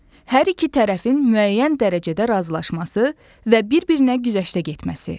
Hər iki tərəfin müəyyən dərəcədə razılaşması və bir-birinə güzəştə getməsi.